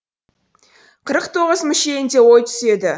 қырық тоғыз мүшелінде ой түседі